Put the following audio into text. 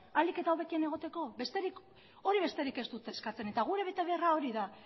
ahalik eta hobekien egoteko hori besterik ez dute eskatzen eta gure betebeharra hori da